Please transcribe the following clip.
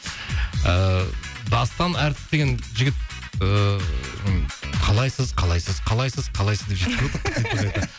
ыыы дастан әртіс деген жігіт ыыы қалайсыз қалайсыз қалайсыз қалайсыз деп